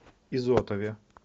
изотове